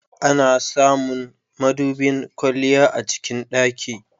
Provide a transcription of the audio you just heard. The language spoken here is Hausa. Ana samun madubin kwalliya a cikin ɗaki.